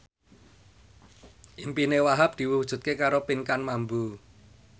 impine Wahhab diwujudke karo Pinkan Mambo